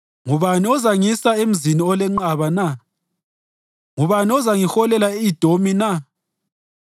Ngubani ozangisa emzini olenqaba na? Ngubani ozangiholela e-Edomi na?